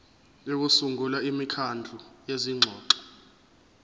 sokusungula imikhandlu yezingxoxo